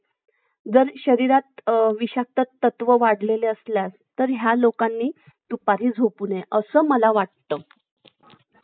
नाही नाही आम्हाला नाही द्यायची आहे बाबा franchise आमचं बघू आम्हाला भरपूर विचार करावा लागन त्या गोष्टीवर franchise देणं. आमचं सोपं नाही ना franchise देणं